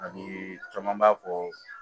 Ani caman b'a fɔ